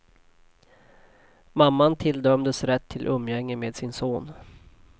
Mamman tilldömdes rätt till umgänge med sin son.